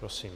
Prosím.